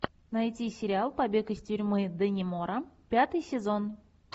найти сериал побег из тюрьмы даннемора пятый сезон